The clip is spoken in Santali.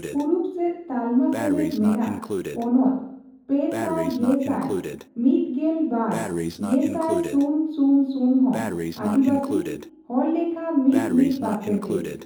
ᱯᱩᱨᱩᱵᱽ ᱥᱮᱪ ᱛᱟᱞᱢᱟᱥᱮᱞᱮᱫ ᱢᱮᱱᱟᱜ ᱯᱚᱱᱚᱛ ᱯᱮᱥᱟᱭ ᱜᱮᱥᱟᱭ ᱢᱤᱛᱜᱮᱞ ᱵᱟᱨ ᱜᱮᱥᱟᱤ ᱥᱩᱱ ᱥᱩᱱ ᱥᱩᱱ ᱦᱚ ᱟᱹᱫᱤᱵᱟᱹᱥᱤ, ᱦᱚᱲᱞᱮᱠᱷᱟ ᱢᱤᱛᱹᱢᱤᱛ ᱯᱟᱨᱥᱮᱱᱴᱮᱡᱽ᱾